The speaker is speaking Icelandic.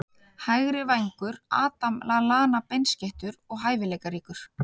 Hægri vængur- Adam Lallana Beinskeyttur og hæfileikaríkur.